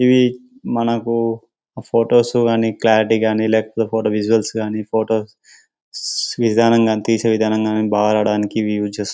ఇవి మనకు ఫొటోస్ అని క్లారిటీ కానీ లేకపోతే విజువల్స్ గాని విధానం గాని తీసే విధానం గాని చూడడానికి పిక్చర్స్